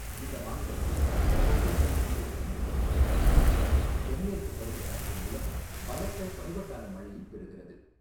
இந்த மாநிலத்தில் வெப்பப் புல்வெளி சீதோஷ்ணம் நிலவுகிறது மற்றும் தென்மேற்குப் பருவக்காற்று மூலம் பலத்த பருவகால மழை ஈப் பெறுகிறது.